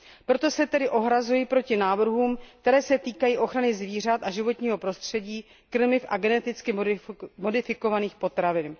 Proto se tedy ohrazuji proti návrhům, které se týkají ochrany zvířat a životního prostředí, krmiv a geneticky modifikovaných potravin.